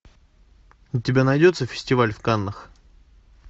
у тебя найдется фестиваль в каннах